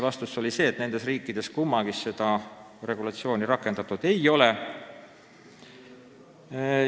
Vastus oli selline, et kummaski riigis seda regulatsiooni rakendatud ei ole.